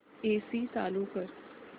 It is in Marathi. एसी चालू कर